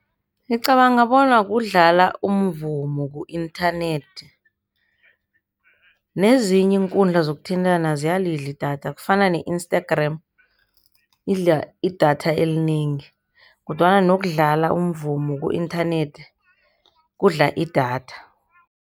Ngicabanga bona kudlala umvumo ku-inthanethi nezinye iinkundla zokuthintana ziyalidla idatha kufana ne-Instagram idla idatha elinengi, kodwana nokudlala umvumo ku-inthanethi kudla idatha.